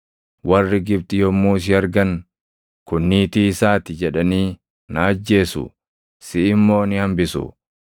Warri Gibxi yommuu si argan, ‘Kun niitii isaa ti’ jedhanii na ajjeesu; siʼi immoo ni hambisu.